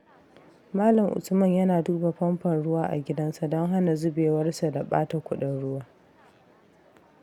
Malam Usman yana duba famfon ruwa a gidansa don hana zubewarsa da ɓata kuɗin ruwa.